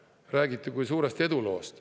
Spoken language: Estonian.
Sellest räägiti kui suurest eduloost.